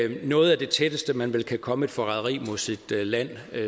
noget af det tætteste man vel kan komme et forræderi mod sit land